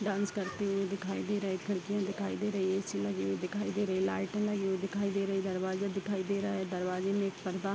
Dance करते हुए दिखाई दे रहा है खिड़कियाँ दिखाई दे रही है ए.सी. लगे हुए दिखाई दे रहे है लाइट लगी हुई दिखाई दे रहे है दरवाजा दिखाई दे रहा है दरवाजे में एक पर्दा --